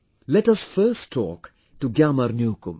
Let us first talk to GyamarNyokum